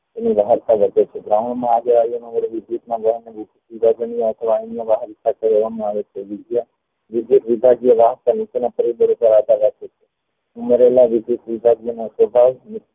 તેની વધે છે ground માં સ્વભાવ